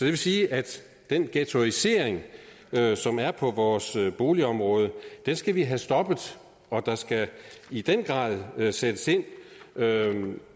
vil sige at den ghettoisering som er på vores boligområde skal vi have stoppet og der skal i den grad sættes ind